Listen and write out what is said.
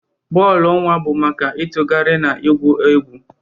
Bọọlụ nwa bụ maka ịtụgharị na igwu egwu.